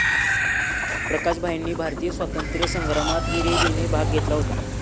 प्रकाश भाईंनी भारतीय स्वातंत्र्य संग्रामात हिरिरीने भाग घेतला होता